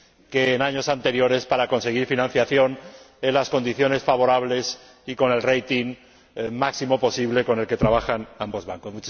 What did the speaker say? que en años anteriores para conseguir financiación en las condiciones favorables y con el rating máximo posible con el que trabajan ambos bancos.